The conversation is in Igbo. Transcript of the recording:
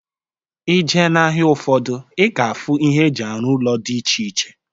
Ije na-ahịa ụfọdụ, ị ga-afụ ihe e ji arụ ụlọ dị iche iche